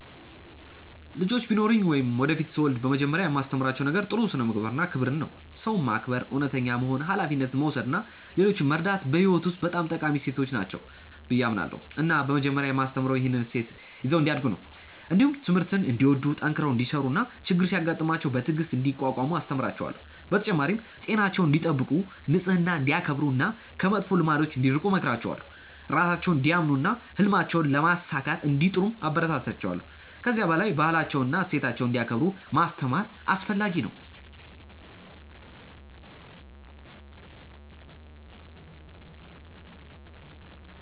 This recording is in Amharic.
ልጆች ቢኖሩኝ ወይም ወደፊት ሲወለድ በመጀመሪያ የማስተምራቸው ነገር ጥሩ ስነ-ምግባር እና ክብርን ነው። ሰውን ማክበር፣ እውነተኛ መሆን፣ ሀላፊነት መውሰድ እና ሌሎችን መርዳት በሕይወት ውስጥ በጣም ጠቃሚ እሴቶች ናቸው ብዬ አምናለሁ እና በመጀመሪያ የማስተምረው ይህንን እሴት ይዘው እንዲያድጉ ነው። እንዲሁም ትምህርትን እንዲወዱ፣ ጠንክረው እንዲሠሩ እና ችግር ሲያጋጥማቸው በትዕግሥት እንዲቋቋሙ አስተምራቸዋለሁ። በተጨማሪም ጤናቸውን እንዲጠብቁ፣ ንጽህናን እንዲያከብሩ እና ከመጥፎ ልማዶች እንዲርቁ እመክራቸዋለሁ። ራሳቸውን እንዲያምኑ እና ህልማቸውን ለማሳካት እንዲጥሩም አበረታታቸዋለሁ። ከዚህ በላይ ባህላቸውንና እሴቶቻቸውን እንዲያከብሩ ማስተማር አስፈለጊ ነው።